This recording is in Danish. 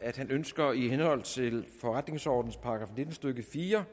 at han ønsker i henhold til forretningsordenens § nitten stykke fire